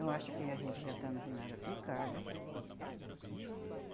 Eu acho que a gente já está no final da picada.